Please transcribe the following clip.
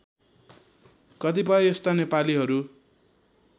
कतिपय यस्ता नेपालीहरू